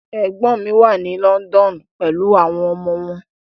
Ẹ̀gbọ́n mi wà ní London pelu àwọn ọmọ wọn.